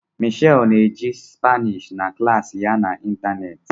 Michelle na-eji Spanish na klas ya n'ịntanetị